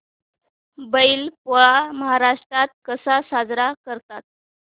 बैल पोळा महाराष्ट्रात कसा साजरा करतात